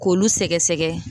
K'olu sɛgɛsɛgɛ